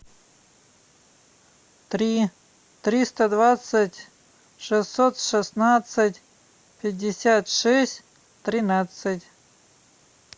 три триста двадцать шестьсот шестнадцать пятьдесят шесть тринадцать